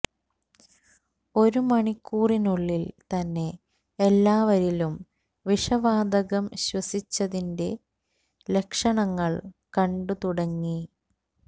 ഒരു മണിക്കൂറിനുള്ളിൽ തന്നെ എല്ലാവരിലും വിഷവാതകം ശ്വസിച്ചതിന്റെ ലക്ഷണങ്ങൾ കണ്ടു തുടങ്ങി